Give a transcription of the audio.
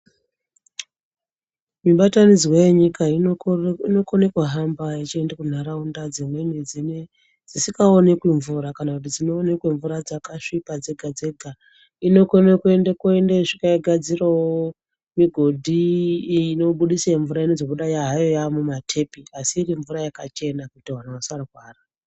Mibatanidzwa yenyika inokone kuhamba yechiende kunharaunda dzimweni dzisikaonekwi mvura kana kuti dzinoonekwe mvura dzakasvipa dzega-dzega. Inokone kuende yosvika yogadzirawo migodhi inobudise mvura inozobuda hayo yaamumatepi asi irimvura yakachena kuti vantu vasarwara.